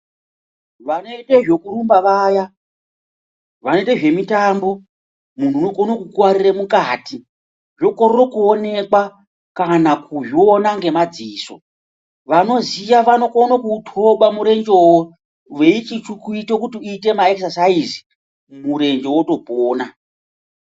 Vanoite zvekurumba vaya, vanoite zvemitombo munhu unokone kukuwarira mukati zvokorere kuonekwa kana kuzviona ngemadziso vanoziya vanokona kuutoba murejewo veichiuita kuti uiite maekisesaizi murenjewo wotopona.